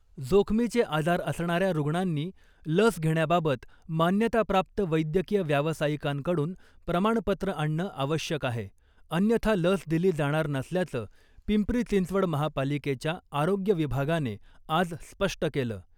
जोखमीचे आजार असणाऱ्या रुग्णांनी लस घेण्याबाबत मान्यताप्राप्त वैद्यकीय व्यावसायिकांकडून प्रमाणपत्र आणणं आवश्यक आहे अन्यथा लस दिली जाणार नसल्याचं पिंपरी चिंचवड महापालिकेच्या आरोग्य विभागाने आज स्पष्ट केलं .